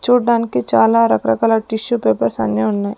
చూడ్డానికి చాలా రకరకాల టిష్యూ పేపర్స్ అన్నీ ఉన్నాయి.